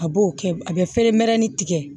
A b'o kɛ a bɛ fɛrɛ mɛrɛnin tigɛ